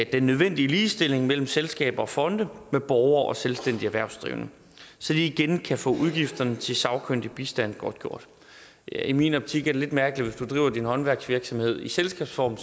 den nødvendige ligestilling mellem selskaber og fonde og borgere og selvstændige erhvervsdrivende så de igen kan få udgifterne til sagkyndig bistand godtgjort det er i min optik lidt mærkeligt hvis du driver din håndværksvirksomhed i selskabsform